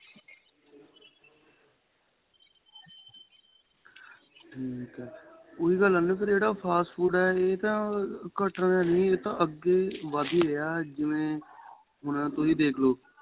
ਠੀਕ ਏ ਉਹੀ ਗੱਲ ਜਿਹੜਾ fast food ਏਹ ਤਾਂ ਘੱਟ ਰਿਹਾ ਨਹੀਂ ਅੱਗੇ ਵੱਧ ਏ ਰਿਹਾ ਜਿਵੇਂ ਹੁਣ ਤੁਸੀਂ ਦੇਖਲੋ